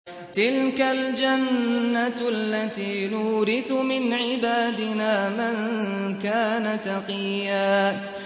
تِلْكَ الْجَنَّةُ الَّتِي نُورِثُ مِنْ عِبَادِنَا مَن كَانَ تَقِيًّا